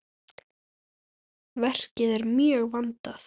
Verkið er mjög vandað.